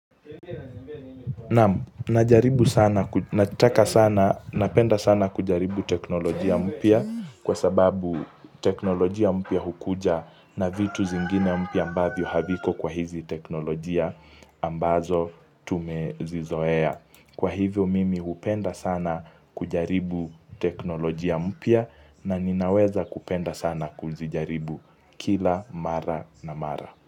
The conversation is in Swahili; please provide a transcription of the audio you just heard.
Napenda sana kujaribu teknolojia mpya kwa sababu teknolojia mpya hukuja na vitu zingine mpya ambavyo haviko kwa hizi teknolojia ambazo tumezizoea. Kwa hivyo mimi hupenda sana kujaribu teknolojia mpya na ninaweza kupenda sana kuzijaribu kila mara na mara.